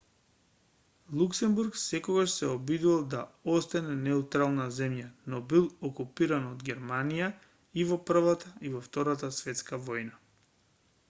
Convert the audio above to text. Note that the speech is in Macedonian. луксембург секогаш се обидувал да остане неутрална земја но бил окупиран од германија и во првата и во втората светска војна